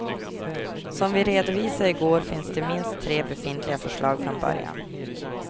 Som vi redovisade i går finns det minst tre befintliga förslag från början.